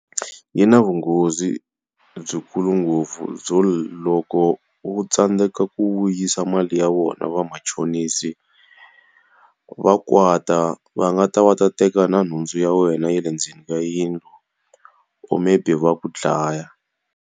Yi na vunghozi byi khulu ngopfu byo loko u tsandzeka ku vuyisa mali ya vona vamachonisi, va kwata. Va nga ta va ta teka na nhundzu ya wena ya le ndzeni ka yindlu or maybe va ku dlaya.